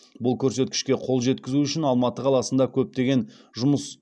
бұл көрсеткішке қол жеткізу үшін алматы қаласында көптеген жұмыс